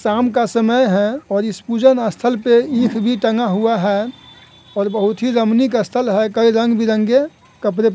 शाम का समय है और इस पूजन स्थल पे ईख भी टंगा हुआ है और बहुत ही रमणिक स्थल है कई रंग-बिरंगे कपड़े --